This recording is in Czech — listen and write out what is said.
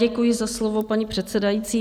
Děkuji za slovo, paní předsedající.